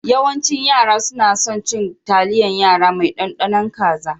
Yawancin yara suna son cin taliyan yara mai ɗaɗanun kaza